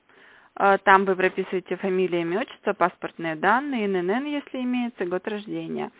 там вы прописываете фамилия имя отчество паспортные данные ннн если имеется год рождения